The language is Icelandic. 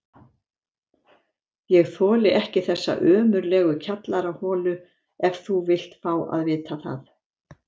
Ég þoli ekki þessa ömurlegu kjallaraholu ef þú vilt fá að vita það!